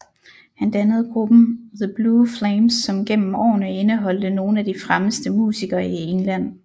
Han dannede gruppen The Blue Flames som gennem årene indeholdte nogle af de fremmeste musikere i England